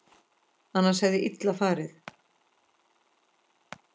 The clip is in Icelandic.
Annars hefði illa farið.